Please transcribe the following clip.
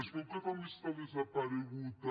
es veu que també està desaparegut a